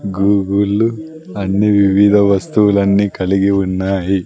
గూగుల్లు అన్ని వివిధ వస్తువులన్నీ కలిగి ఉన్నాయి.